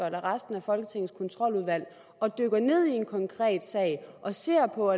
eller resten af folketingets kontroludvalg og dykker ned i en konkret sag og ser på